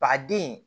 Ba den